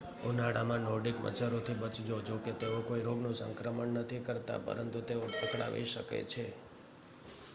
ઉનાળામાં નોર્ડિક મચ્છરોથી બચજો જો કે તેઓ કોઈ રોગોનું સંક્રમણ નથી કરતા પરંતુ તેઓ અકળાવી શકે છે